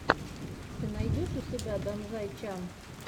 ты найдешь у себя данзай чан